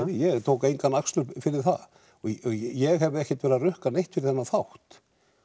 ég tók engan akstur fyrir það ég hef ekki verið að rukka neitt fyrir þennan þátt